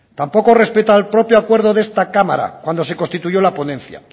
tampoco respeta el propio acuerdo de esta cámara cuando se constituyó la ponencia